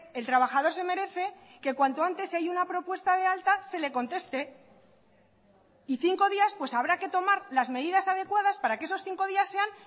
el trabajador se merece que cuanto antes si hay una propuesta de alta se le conteste y cinco días pues habrá que tomar las medidas adecuadas para que esos cinco días sean